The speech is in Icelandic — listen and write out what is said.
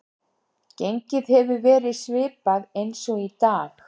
Gengið hefur verið svipað eins og í dag.